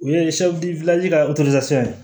O ye ka ye